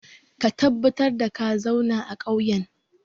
Ka tabbatar da ka zauna a ƙauyen!